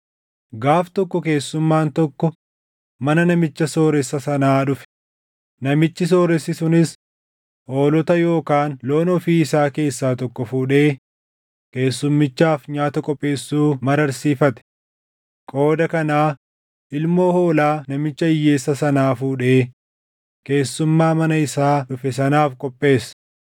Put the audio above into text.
“Gaaf tokko keessummaan tokko mana namicha sooressa sanaa dhufe; namichi sooressi sunis hoolota yookaan loon ofii isaa keessaa tokko fuudhee keessummichaaf nyaata qopheessuu mararsiifate. Qooda kanaa ilmoo hoolaa namicha hiyyeessa sanaa fuudhee keessummaa mana isaa dhufe sanaaf qopheesse.”